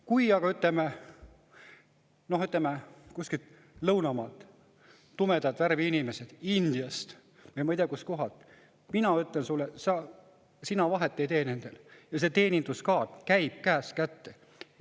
Kui aga kuskilt lõunamaalt tumedat värvi inimestega, Indiast või ma ei tea, kust kohast, siis ma ütlen sulle, et sina nendel vahet ei tee, ja see teenindajakaart käib käest kätte.